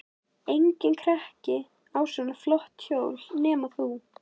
Enginn krakki á svona flott hjól nema þú.